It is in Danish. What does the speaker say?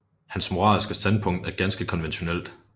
Hans moralske standpunkt er ganske konventionelt